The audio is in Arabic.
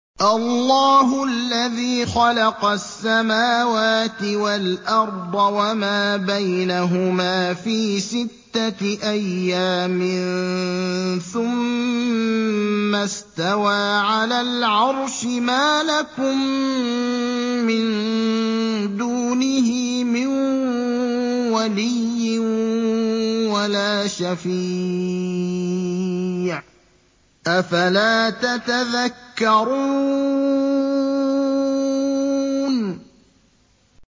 اللَّهُ الَّذِي خَلَقَ السَّمَاوَاتِ وَالْأَرْضَ وَمَا بَيْنَهُمَا فِي سِتَّةِ أَيَّامٍ ثُمَّ اسْتَوَىٰ عَلَى الْعَرْشِ ۖ مَا لَكُم مِّن دُونِهِ مِن وَلِيٍّ وَلَا شَفِيعٍ ۚ أَفَلَا تَتَذَكَّرُونَ